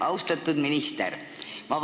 Austatud minister!